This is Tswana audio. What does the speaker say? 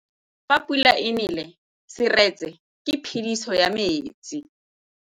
Fa pula e nelê serêtsê ke phêdisô ya metsi.